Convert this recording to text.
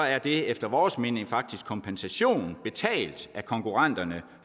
er det efter vores mening faktisk kompensation betalt af konkurrenterne